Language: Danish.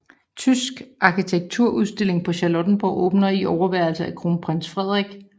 Tysk arkitekturudstilling på Charlottenborg åbner i overværelse af kronprins Frederik